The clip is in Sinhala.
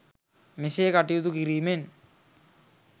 මෙසේ කටයුතු කිරීමෙන්